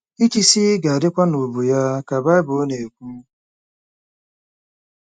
“Ịchịisi ga-adịkwa n’ubu ya,” ka Bible na-ekwu.